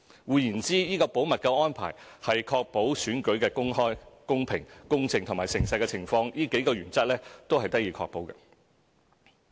換言之，這個保密安排是使選舉的公開、公平、公正和誠實這數項原則得以確保。